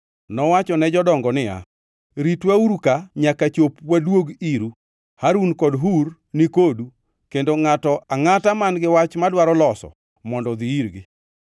Nowacho ne jodongo niya, “Ritwauru ka nyaka chop waduog iru. Harun kod Hur ni kodu kendo ngʼato angʼata man-gi wach madwaro loso mondo odhi irgi.”